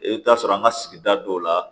I bɛ t'a sɔrɔ an ka sigida dɔw la